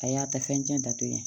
A y'a ta fɛn tiɲɛ da to ye